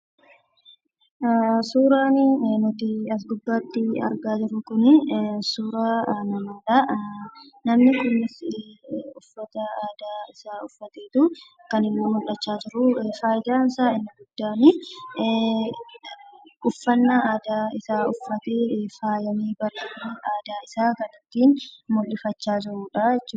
Suuraa nuti as gubaatti argaa jiruu kuni, suuraa namaadha. Namni kunis uffata aadaa isa uffateetu kan inni mul'achaa jiru. Faayidaan isaa inni guddaan uffannaa aadaa isaa uffatee faayamee, bareedee aadaa isaa kan ittiin mul'ifachaa jiruudha jechuudha.